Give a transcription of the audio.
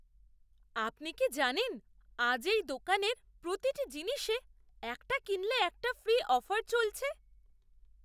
আপনি কি জানেন আজ এই দোকানের প্রতিটি জিনিসে 'একটা কিনলে একটা ফ্রি' অফার চলছে!